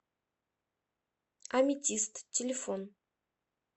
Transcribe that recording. аметист телефон